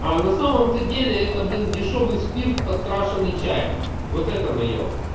а на самом-то деле это блин дешёвый спирт подкрашенной чаем вот это наеб